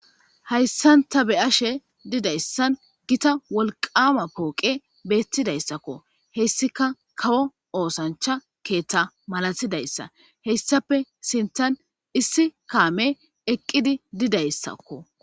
hayssanta be'ashe didayssan gita wolqama pooqe beettidayssakko hessika kawo oosancha keeththa malatidayssa heyssape sinthan issi kaame eqqidi didayssakko